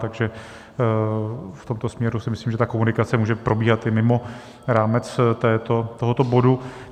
Takže v tomto směru si myslím, že ta komunikace může probíhat i mimo rámec tohoto bodu.